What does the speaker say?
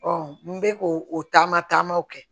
n bɛ k'o taama taamaw kɛ